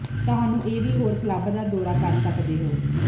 ਤੁਹਾਨੂੰ ਇਹ ਵੀ ਹੋਰ ਕਲੱਬ ਦਾ ਦੌਰਾ ਕਰ ਸਕਦੇ ਹਨ